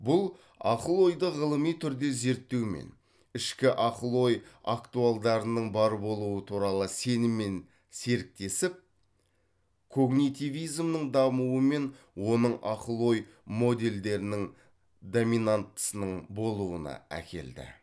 бұл ақыл ойды ғылыми түрде зерттеумен ішкі ақыл ой актуалдарының бар болуы туралы сеніммен серіктесіп когнитивизмнің дамуы мен оның ақыл ой модельдерінің доминанттысының болуына әкелді